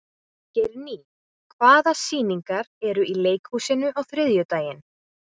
Geirný, hvaða sýningar eru í leikhúsinu á þriðjudaginn?